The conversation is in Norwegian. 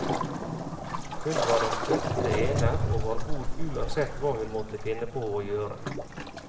Hun var den fødte ener, og var god uansett hva hun måtte finne på å gjøre.